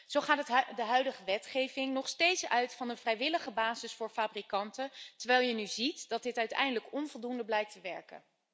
Zo gaat de huidige wetgeving nog steeds uit van een vrijwillige basis voor fabrikanten, terwijl je nu ziet dat dit uiteindelijk onvoldoende blijkt te werken.